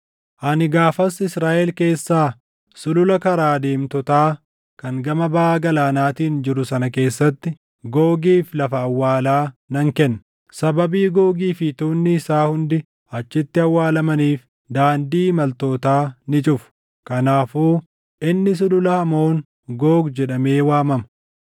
“ ‘Ani gaafas Israaʼel keessaa sulula karaa deemtotaa kan gama baʼa Galaanaatiin jiru sana keessatti Googiif lafa awwaalaa nan kenna. Sababii Googii fi tuunni isaa hundi achitti awwaalamaniif daandii imaltootaa ni cufu. Kanaafuu inni Sulula Hamoon Goog jedhamee waamama.